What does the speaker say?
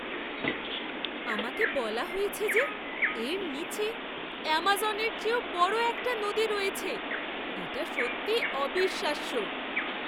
আমাকে বলা হয়েছে যে এর নীচে অ্যামাজনের চেয়েও বড় একটা নদী রয়েছে। এটা সত্যিই অবিশ্বাস্য!